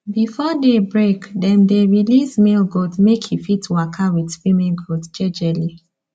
before day break dem dey release male goat make e fit waka with female goat jejely